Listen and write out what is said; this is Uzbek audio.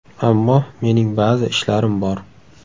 Ammo mening ba’zi ishlarim bor.